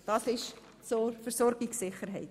Soweit zur Versorgungssicherheit.